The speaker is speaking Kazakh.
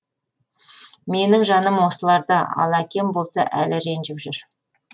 менің жаным осыларда ал әкем болса әлі ренжіп жүр